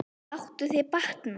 Láttu þér batna.